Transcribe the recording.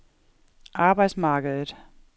arbejdsmarkedet